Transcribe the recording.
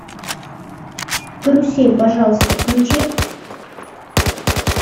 карусель пожалуйста включи